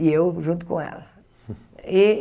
E eu junto com ela.